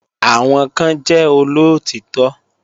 Àwọn kan jẹ́ olóòtítọ́